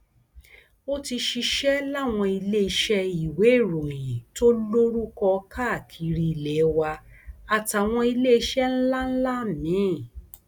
ó ti ṣiṣẹ láwọn iléeṣẹ ìwéèròyìn tó lórúkọ káàkiri ilé wa àtàwọn iléeṣẹ ńlá ńlá míín